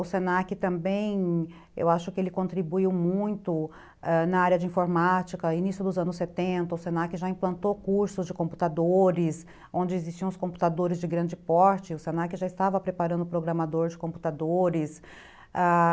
O se na que também, eu acho que ele contribuiu muito, ãh, na área de informática, início dos anos setenta, o se na que já implantou cursos de computadores, onde existiam os computadores de grande porte, o se na que já estava preparando o programador de computadores, ãh...